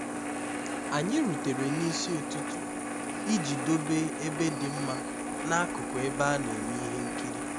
anyị rutere n'isi ụtụtụ iji dobe ebe dị mma n'akụkụ ebe a na-eme ihe nkiri